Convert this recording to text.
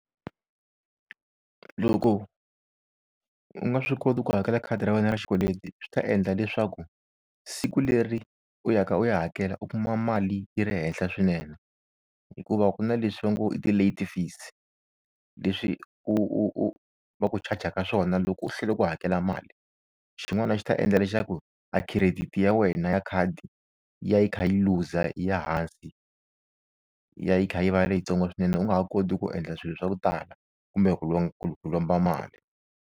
Loko u nga swi koti ku hakela khadi ra wena ra xikweleti swi ta endla leswaku siku leri u ya ka u ya hakela u kuma mali yi ri henhla swinene hikuva ku na leswi va ngo i ti-late face leswi u u u va ku chajaka swona loko u hlwela ku hakela mali xin'wana swi ta endla leswaku a credit ya wena ya khadi ya yi kha yi looser yi ya hansi ya yi kha yi va leyitsongo swinene u nga ha koti ku endla swilo swa ku tala kumbe ku ku lomba mali.